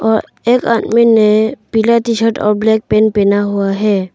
और एक आदमी ने पीला टी शर्ट और ब्लैक पैंट पहना हुआ है।